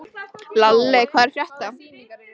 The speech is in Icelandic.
Lalli, hvað er að frétta?